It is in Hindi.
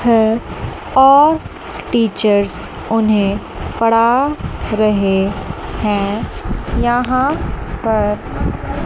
है और टीचर्स उन्हें पढ़ा रहे है यहां पर--